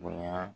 Bonya